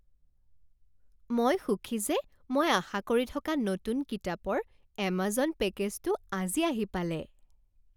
মই সুখী যে মই আশা কৰি থকা নতুন কিতাপৰ এমাজন পেকেজটো আজি আহি পালে।